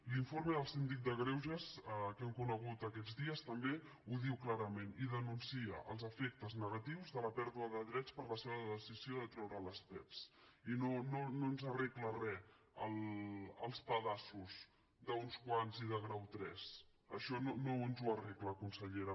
l’informe del síndic de greuges que hem conegut aquests dies també ho diu clarament i denuncia els efectes negatius de la pèrdua de drets per la sola decisió de treure les pevs i no ens arreglen re els pedaços d’uns quants i de grau tres això no ens ho arregla consellera